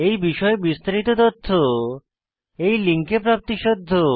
এই বিষয়ে বিস্তারিত তথ্য এই লিঙ্কে প্রাপ্তিসাধ্য